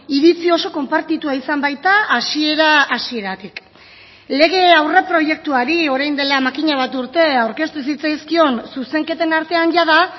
iritzi oso konpartitua izan baita hasiera hasieratik lege aurreproiektuari orain dela makina bat urte aurkeztu zitzaizkion zuzenketen artean jada